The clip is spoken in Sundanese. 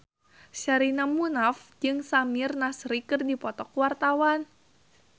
Sherina Munaf jeung Samir Nasri keur dipoto ku wartawan